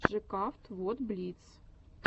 жекавт вот блиц